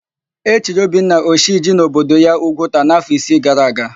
E chiri Obinna, Oshiji n'obodo ya Ugwuta n'áfọ̀ isi gara aga.